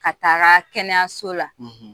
Ka taga kɛnɛyaso la,